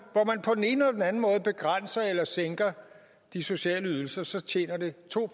ene anden måde begrænser eller sænker de sociale ydelser så tjener det to